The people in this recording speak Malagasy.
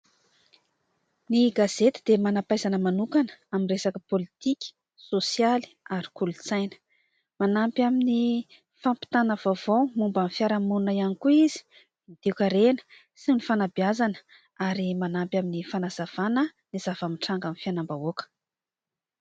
Ny gazety dia manam-pahaizana manokana amin'ny resaka politika, sosialy ary kolontsaina. Manampy amin'ny fampitana vaovao momban'ny fiarahamonina ihany koa izy toe-karena sy ny fanabeazana ary manampy amin'ny fanazavana ny zava-mitranga amin'ny fiainam-bahoaka.